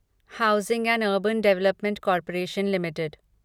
housing and urban development corporation limited